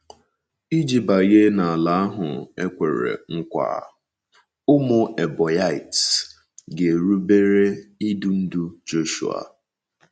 Iji banye n’Ala ahụ ekwere nkwa, ụmụ Ebonyiites ga-erubere idu ndu Joshhua